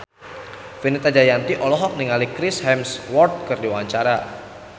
Fenita Jayanti olohok ningali Chris Hemsworth keur diwawancara